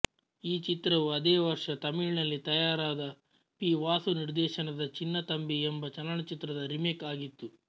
ಈ ಚಿತ್ರವು ಅದೇ ವರ್ಷ ತಮಿಳಿನಲ್ಲಿ ತಯಾರಾದ ಪಿ ವಾಸು ನಿರ್ದೇಶನದ ಚಿನ್ನತಂಬಿ ಎಂಬ ಚಲನಚಿತ್ರದ ರಿಮೇಕ್ ಆಗಿತ್ತು